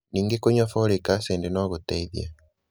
Ningĩ kũnyua folic acid no gũteithie.